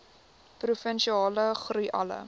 provinsiale groei alle